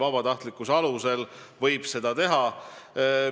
Vabatahtlikkuse alusel võib seda teha!